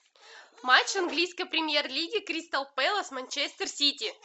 матч английской премьер лиги кристал пэлас манчестер сити